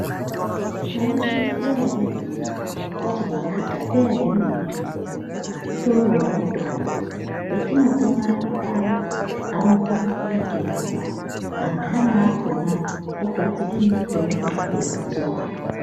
Mwaizviziya ere imwimwi, kuti makhatapeya emene-mene ,utoriwo mutombo? Petinotomarya paya anokona kutotirapa. Anthani akhona, ogadzire mitombo yekudzora.